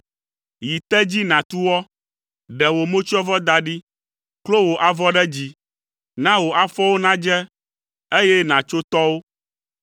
Yi te dzi nàtu wɔ. Ɖe wò motsyɔvɔ da ɖi. Klo wò avɔ ɖe dzi. Na wò afɔwo nadze, eye nàtso tɔwo.